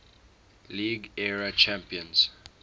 league era champions